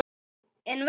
En vestur?